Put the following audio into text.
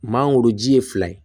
Maa goroji ye fila ye